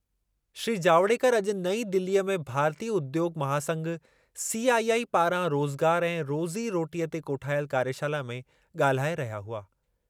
श्री जावड़ेकर अॼु नईं दिलीअ में भारतीय उद्योगु महासंघ, सीआईआई पारां रोज़गार ऐं रोज़ी रोटीअ ते कोठायल कार्यशाला में ॻाल्हाए रहिया हुआ।